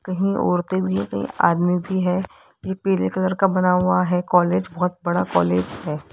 कहीं औरतें भी हैं कहीं आदमी भी हैं ये पीले कलर का बना हुआ है कॉलेज बहुत बड़ा कॉलेज है।